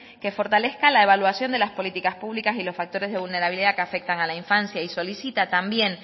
que fortalezca la evaluación de las políticas públicas y los factores de vulnerabilidad que afectan a la infancia y solicita también